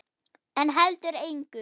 En heldur engu.